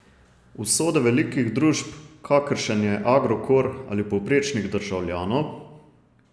Usode velikih družb, kakršen je Agrokor, ali povprečnih državljanov?